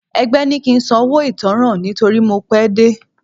Ẹgbẹ́ ní kí ń san owó ìtanràn nítorí mo pé dé.